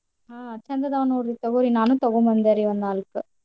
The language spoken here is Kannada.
ಹ್ಮ್ ಚಂದ್ ಅದಾವ್ ನೋಡ್ರಿ ತೊಗೋರಿ ನಾನು ತೂಗೋಂಡ್ ಬಂದೆ ರೀ ಒಂದ್ ನಾಲ್ಕ್.